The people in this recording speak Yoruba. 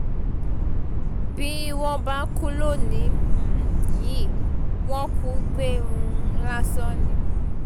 bí wọ́n bá kú lónìí um yìí wọ́n kù gbé um lásán ni